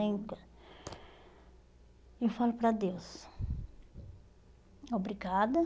Eh eu falo para Deus, obrigada.